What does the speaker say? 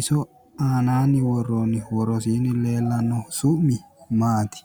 Iso aanaanni worroonnihu worosiinni leellannohu su'mi maati?